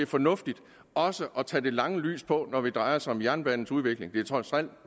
fornuftigt også at tage det lange lys på når det drejer sig om jernbanens udvikling det er trods alt